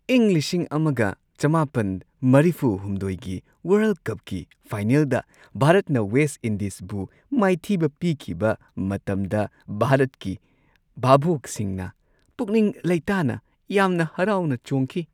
ꯏꯪ ꯱꯹꯸꯳ꯒꯤ ꯋꯥꯔꯜꯗ ꯀꯞꯀꯤ ꯐꯥꯏꯅꯦꯜꯗ ꯚꯥꯔꯠꯅ ꯋꯦꯁꯠ ꯏꯟꯗꯤꯖꯕꯨ ꯃꯥꯏꯊꯤꯕ ꯄꯤꯈꯤꯕ ꯃꯇꯝꯗ ꯚꯥꯔꯠꯀꯤ ꯚꯥꯕꯣꯛꯁꯤꯡꯅ ꯄꯨꯛꯅꯤꯡ ꯂꯩꯇꯥꯅ ꯌꯥꯝꯅ ꯍꯔꯥꯎꯅ ꯆꯣꯡꯈꯤ ꯫